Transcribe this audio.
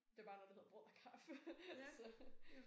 Det bare når det hedder brød og kaffe så